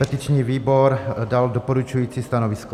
Petiční výbor dal doporučující stanovisko.